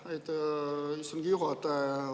Aitäh, istungi juhataja!